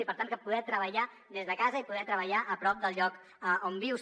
i per tant poder treballar des de casa i poder treballar a prop del lloc on vius